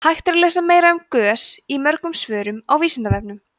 hægt er að lesa meira um gös í mörgum svörum á vísindavefnum